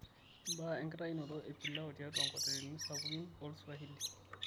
mbaa enkitaunoto e pilau tiatua nkotelini sapukin olswahili